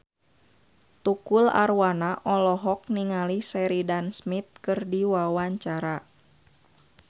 Tukul Arwana olohok ningali Sheridan Smith keur diwawancara